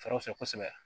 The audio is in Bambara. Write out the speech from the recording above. Fɛrɛw fɛ kosɛbɛ